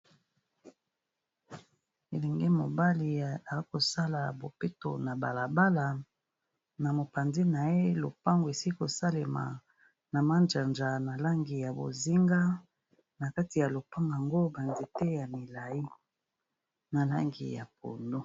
Elenge mobali akosala bopeto na bala bala, na mopanzi na ye lopango esili kosalema na majanja na langi ya bozinga. Na kati ya lopango ango ba nzete ya milayi, na langi ya pondu.